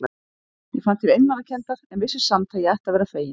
Ég fann til einmanakenndar, en vissi samt að ég ætti að vera fegin.